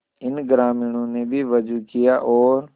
इन ग्रामीणों ने भी वजू किया और